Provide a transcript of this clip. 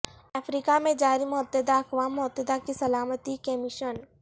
افریقہ میں جاری متحدہ اقوام متحدہ کی سلامتی کے مشن